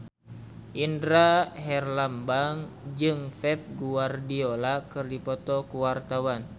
Indra Herlambang jeung Pep Guardiola keur dipoto ku wartawan